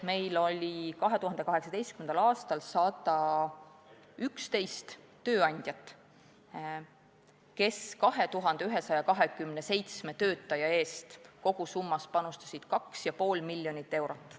Meil oli 2018. aastal 111 tööandjat, kes panustasid 2127 töötaja eest kogusummas 2,5 miljonit eurot.